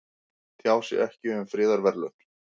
Tjá sig ekki um friðarverðlaun